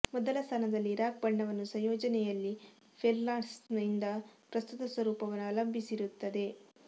ಮೊದಲ ಸ್ಥಾನದಲ್ಲಿ ರಾಕ್ ಬಣ್ಣವನ್ನು ಸಂಯೋಜನೆಯಲ್ಲಿ ಫೆಲ್ಡ್ಸ್ಪಾರ್ನಿಂದ ಪ್ರಸ್ತುತ ಸ್ವರೂಪವನ್ನು ಅವಲಂಬಿಸಿರುತ್ತದೆ